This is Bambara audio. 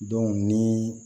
ni